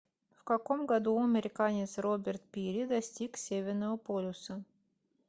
в каком году американец роберт пири достиг северного полюса